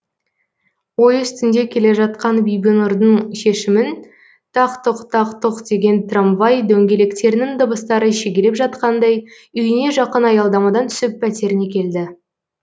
ой үстінде келе жатқан бибінұрдың шешімін тақ тұқ тақ тұқ деген трамвай дөңгелектерінің дыбыстары шегелеп жатқандай үйіне жақын аялдамадан түсіп пәтеріне келді